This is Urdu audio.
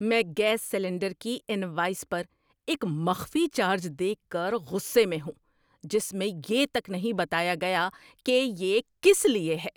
میں گیس سلنڈر کی انوائس پر ایک مخفی چارج دیکھ کر غصے میں ہوں، جس میں یہ تک نہیں بتایا گیا کہ یہ کس لیے ہے۔